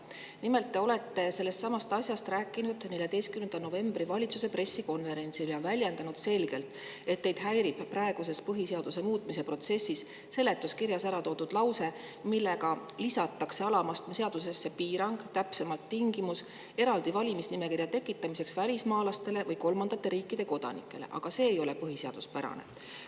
Nimelt rääkisite te sellestsamast asjast 14. novembril valitsuse pressikonverentsil ja väljendasite selgelt, et teid häirib praeguses põhiseaduse muutmise protsessis see, et seletuskirjas on ära toodud lause, millega lisatakse alama astme seadusesse piirang, täpsemalt tingimus, eraldi valimisnimekirja tekitamiseks välismaalastele või kolmandate riikide kodanikele, aga see ei ole põhiseaduspärane.